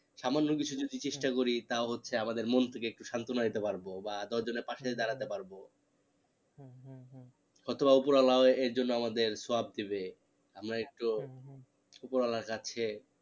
সামান্য কিছু যদি চেষ্টা করি তা হচ্ছে আমাদের মন থেকে একটু সান্তনা দিতে পারবো বা দশ জনের পাশে দাঁড়াতে পারবো হয়তো বা উপরওয়ালা এর জন্য আমাদের সওয়াব দেবে আমরা একটু উপরওয়ালার কাছে